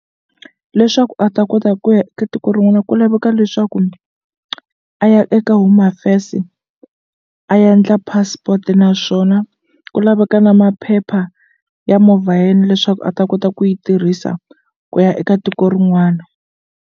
Leswaku a ta kota ku ya ka tiko rin'wana ku laveka leswaku a ya eka Home Affairs a ya endla passport naswona ku laveka na maphepha ya movha ya yena leswaku a ta kota ku yi tirhisa ku ya eka tiko rin'wana.